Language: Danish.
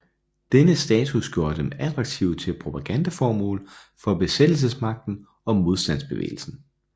Denne status gjorde dem attraktive til propagandaformål for besættelsesmagten og modstandsbevægelsen